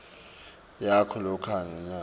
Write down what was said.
yakho loyikhokha ngenyanga